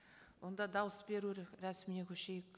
онда дауыс беру рәсіміне көшейік